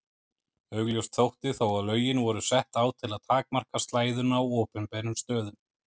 Augljóst þótti þó að lögin voru sett á til að takmarka slæðuna á opinberum stöðum.